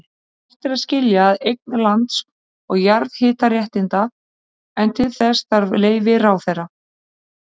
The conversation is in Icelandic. Hægt er að skilja að eign lands og jarðhitaréttinda, en til þess þarf leyfi ráðherra.